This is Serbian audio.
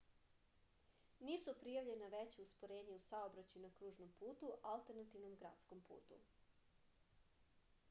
nisu prijavljena veća usporenja u saobraćaju na kružnom putu alternativnom gradskom putu